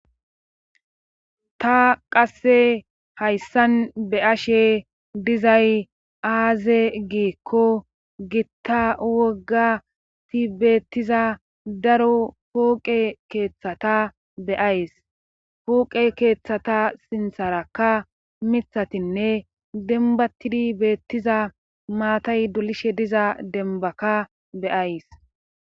ta qasse hayssan be'ashe dizay aaze giikko gitta wogati beettiza daro pooqe keeththata beays pooqe keeththata sintharakka mithatinne denbatidi beettiza maatay dulishe diza denbaka beyays